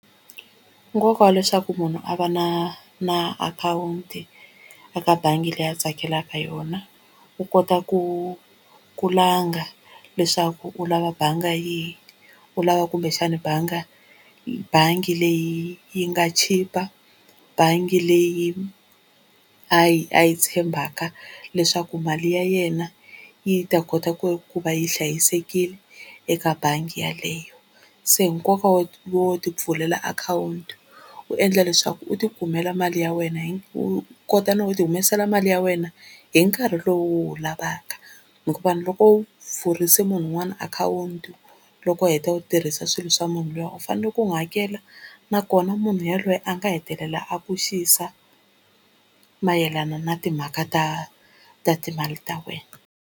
Nkoka wa leswaku munhu a va na na akhawunti eka bangi leyi a tsakelaka yona u kota ku kulangha leswaku u lava bangi yihi, u lava kumbexani bangi bangi leyi yi nga chipa, bangi leyi a yi a yi tshembaka leswaku mali ya yena yi ta kota ku ku va yi hlayisekile eka bangi yaleyo. Se nkoka wo wo ti pfulela akhawunti u endla leswaku u ti kumela mali ya wena hi u kota no ti humesela mali ya wena hi nkarhi lowu u wu lavaka, hikuva loko u pfurise munhu un'wana akhawunti loko u heta u tirhisa swilo swa munhu luya u fanele ku n'wi hakela nakona munhu yaloye a nga hetelela a ku xisa mayelana na timhaka ta ta timali ta wena.